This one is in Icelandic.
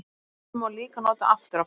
Jöfnuna má líka nota aftur á bak.